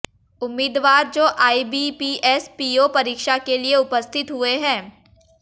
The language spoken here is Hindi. उम्मीदवार जो आईबीपीएस पीओ परीक्षा के लिए उपस्थित हुए हैं